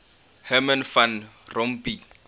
herman van rompuy